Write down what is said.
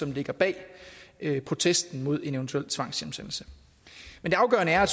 ligger bag protesten imod en eventuel tvangshjemsendelse men det afgørende er